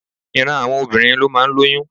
Ìran àwọn obìnrin ló máa ń lóyún.